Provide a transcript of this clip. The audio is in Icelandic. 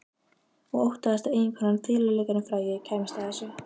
Og óttaðist að eiginkonan, fiðluleikarinn frægi, kæmist að þessu.